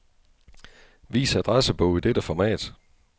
Vis adressebog i dette format.